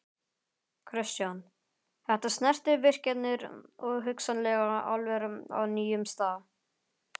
Kristján: Þetta snertir virkjanir og hugsanlega álver á nýjum stað?